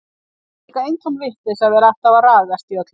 Það var líka eintóm vitleysa að vera alltaf að ragast í öllu.